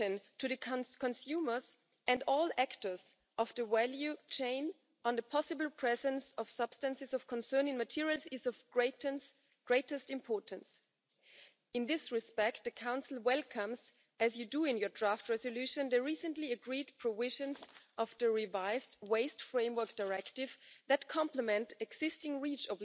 To this end, the wider plastics industry is currently working on voluntary commitments, and a pledging campaign is ongoing to support objectives of this strategy by increasing the uptake of recycled